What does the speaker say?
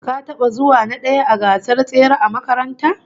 Ka taba zuwa na daya a gasar tsere a makaranta?